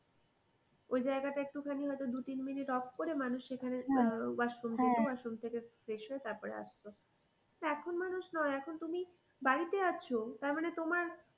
ঐজায়গা টা একটুখানি হয়তো দু তিন মিনিট off করে মানুষ সেখানে washroom washroom থেকে fresh হয়ে তারপরে আসতো এখন মানুষ নয় এখন তুমি বাড়িতে আছো তার মানে তোমার,